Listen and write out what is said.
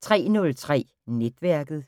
03:03: Netværket